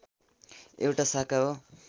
एउटा शाखा हो